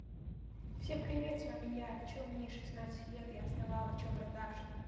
всем привет с вами я что мне шестнадцать лет я основала что продакшек